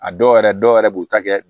A dɔw yɛrɛ dɔw yɛrɛ b'u ta kɛ